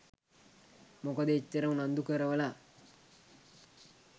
මොකද එච්චර උනන්දු කරවල